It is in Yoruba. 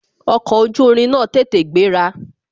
Ọkọ̀ ojú irin náà tètè gbéra